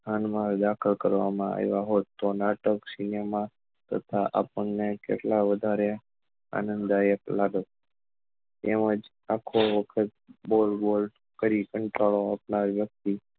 કાન માં દાખલ કરવા માં આવ્યા હોત તો નાટક cinema તથા આપણને કેટલા વધારે આનંદદાયક લાગોત એમ જ આખો વખત બઉ કંટાળો વ્યક્તિ